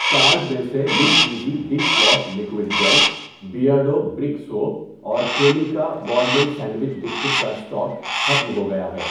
Cart میں سے نیمیزی dish wash liquid gel, Beardo brick soap اور کریمیکا بوربن سینڈوچ بسکٹ کا اسٹاک ختم ہوگیا ہے۔